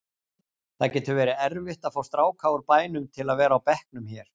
Það getur verið erfitt að fá stráka úr bænum til að vera á bekknum hér.